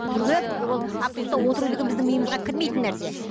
түрегеліп ол автобуста отыру деген біздің миымызға кірмейтін нәрсе